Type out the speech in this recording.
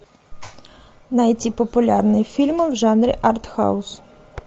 найти популярные фильмы в жанре артхаус